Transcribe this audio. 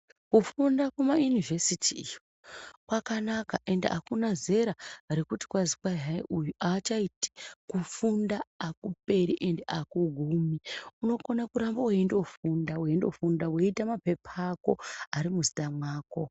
Kufunda kumainivhesiti iyo, kwakanaka ende akuna zera rekuti kwazi kwai hai uyu haachaiti. Kufunda hakuperi ende hakugumi. Unokona kuramba weindofunda weindofunda, woita mapepa ako ari muzita mwako.